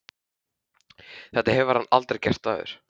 Þetta hefur hann aldrei gert áður.